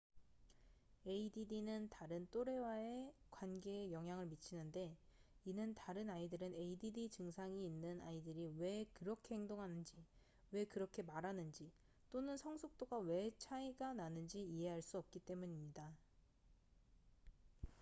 add는 다른 또래와의 관계에 영향을 미치는데 이는 다른 아이들은 add 증상이 있는 아이들이 왜 그렇게 행동하는지 왜 그렇게 말하는지 또는 성숙도가 왜 차이가 나는지 이해할 수 없기 때문입니다